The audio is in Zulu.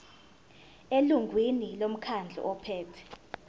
elungwini lomkhandlu ophethe